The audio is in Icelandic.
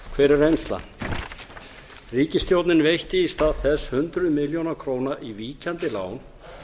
hver er reynaaln ríkisstjórnin veitti í stað þess hundruðum milljóna króna í víkjandi lán